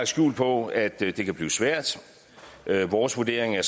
skjul på at det kan blive svært vores vurdering er